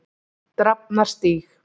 Drafnarstíg